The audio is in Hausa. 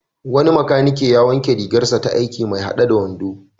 Wani makanike ya wanke rigarsa ta aiki mai haɗe da wando.